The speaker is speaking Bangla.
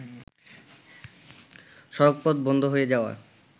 সড়কপথ বন্ধ হয়ে যাওয়ায়